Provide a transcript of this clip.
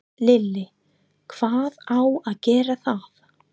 Lillý: Hvað á að gera það?